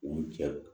U jɛ